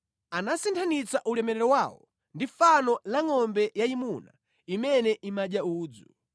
Anasinthanitsa ulemerero wawo ndi fano la ngʼombe yayimuna imene imadya udzu.